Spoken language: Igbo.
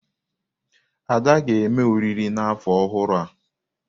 Ada ga-eme oriri n'afọ ọhụrụ a.